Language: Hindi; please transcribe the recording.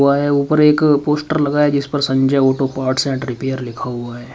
व ऊपर एक पोस्टर लगा है जिस पर Sanjay auto parts and repair लिखा हुआ है।